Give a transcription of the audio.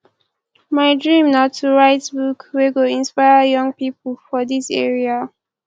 my dream na to write book wey go inspire young pipo for dis area